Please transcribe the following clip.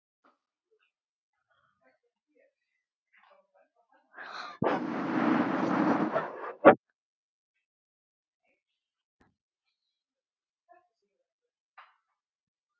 Missti trúna á lífið.